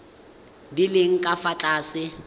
di leng ka fa tlase